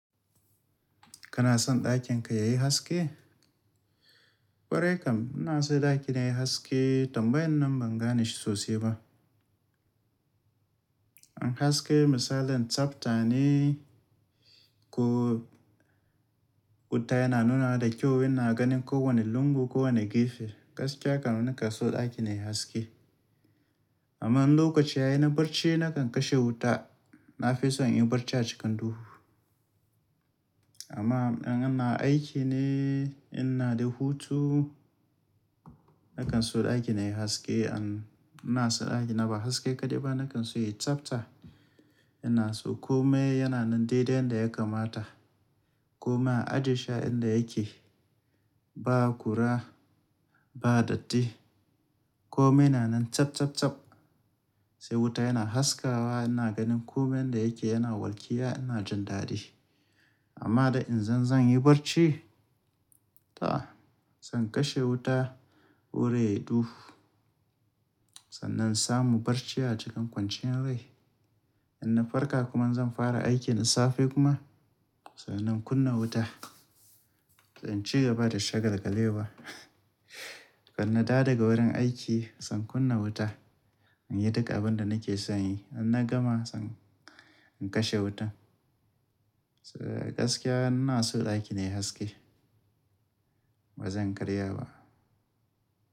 Kana son ɗakin ka yayi haske? Kware kam ina so ɗakina yayi haske tambayan nan ban gane shi sosai ba. In haske misalin tsafta ne ko wuta yana nuna da kyau ina ganin ko wane lungu ko wane gefe. Gaskiya kam na kan so ɗakina yayi haske. Amma in lokaci ya yi na barci nakan kashe wuta. Na fi so in yi barci a cikin duhu. Amma in ana aiki ne, ina da hutu nakan so ɗakina yayi haske. An-- ina so ɗakina ba haske kaɗai ba nakan so yayi tsafta. Ina so kome yana nan dai dai yanda ya kamata. Kome a haɗashi inda yake, ba kura, ba datti. Kome yana nan tsab, tsab, tsab. Sai wuta yana haskawa ina ganin kome inda yake yana walƙiya ina jin dadi. Amma da in zan, zan yi barci ta zan kashe wuta wurin ya yi duhu. Sannan samu barci a cikin kwanciyar rai. In na farka kuma zan fara aiki in safe kuma sannan kunna wuta. Zan ci gaba da shagalgalewa. Kuma na dawo daga wurin aiki zan kunna wuta. In yi duk abin da nake son yi. In na gama zan, zan kashe wuta. Sa gaskiya ina so ɗakina yayi haske. Ba zan karya ba.